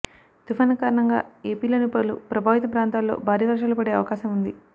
తుఫాను కారణంగా ఏపీలోని పలు ప్రభావిత ప్రాంతాల్లో భారీ వర్షాలు పడే అవకాశం ఉంది